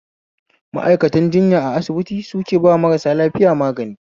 Ma'aikatanr jinya a asibiti suke ba marasa lafiya magani